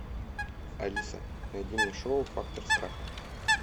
алиса найди мне шоу фактор страха